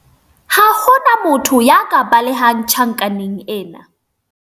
ha ho na motho ya ka balehang tjhankaneng ena